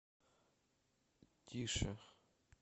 тише